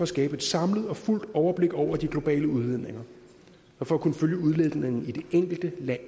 skabe et samlet og fuldt overblik over de globale udledninger og for at kunne følge udviklingen i det enkelte lands